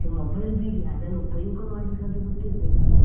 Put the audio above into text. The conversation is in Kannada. Mobile ಬಿಡಿ ಅದನ್ನು ಉಪಯೋಗ ಮಾಡ್ಲಿಕ್ಕಾದ್ರೂ ಗೊತ್ತಿರ್ಬೇಕಲ್ಲ.